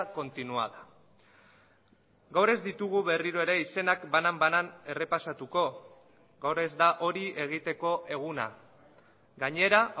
continuada gaur ez ditugu berriro ere izenak banan banan errepasatuko gaur ez da hori egiteko eguna gainera